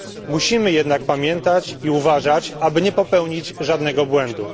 Musimy jednak pamiętać i uważać, aby nie popełnić żadnego błędu.